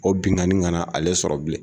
O binnkanni kana ale sɔrɔ bilen